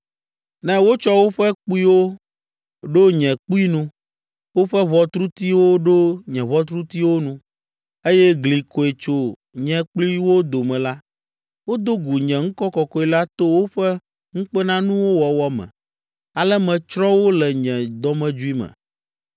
Ne wotsɔ woƒe kpuiwo ɖo nye kpui nu, woƒe ʋɔtrutiwo ɖo nye ʋɔtrutiwo nu, eye gli koe tso nye kpli wo dome la, wodo gu nye ŋkɔ kɔkɔe la to woƒe ŋukpenanuwo wɔwɔ me. Ale metsrɔ̃ wo le nye dɔmedzoe me.